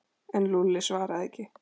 En Lúlli svaraði ekki.